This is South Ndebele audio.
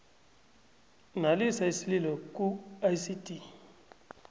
nalisa isililo kuicd